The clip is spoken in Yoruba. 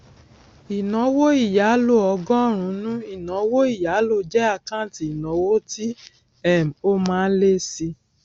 ìnáwó ìyálò ọgọrùnún ìnáwó ìyálò jẹ àkáǹtì ìnáwó tí um ó má ń lé síi